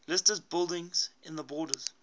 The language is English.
listed buildings in the borders